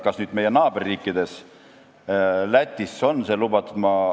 Kas meie naaberriikides, näiteks Lätis, on see lubatud?